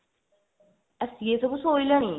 ଏ ସିଏ ସବୁ ସୋଇଲେଣି